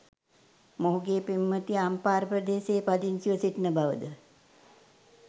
මොහුගේ පෙම්වතිය අම්පාර ප්‍රදේශයේ පදිංචිව සිටින බවද